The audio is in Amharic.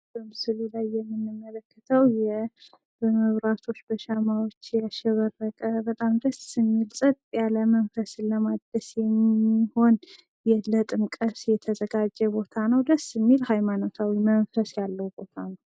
በምስሉ ላይ የምንመለክተው በመብራቶች፣ በሻማዎች ያሸበረቀ በጣም ደስ የሚል ጸጥ ያለ መንፈስን ለማደስ የሚሆን ለጥምቀት የተዘጋጀ ቦታ ነው። ደስ የሚል ሃይማኖታዊ መንፈስ ያለው ቦታ ነው።